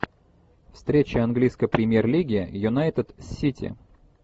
встреча английской премьер лиги юнайтед сити